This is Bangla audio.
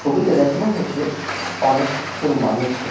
ছবিতে দেখানো হয়েছে অনেক জন মানুষ কে।